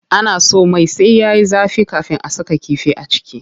Ana so mai sai yayi zafi kafin a saka kifi a ciki.